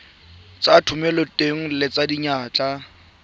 tsa thomeloteng le tsa diyantle